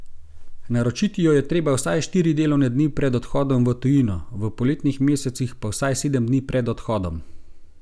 Naročiti jo je treba vsaj štiri delovne dni pred odhodom v tujino, v poletnih mesecih pa vsaj sedem dni pred odhodom.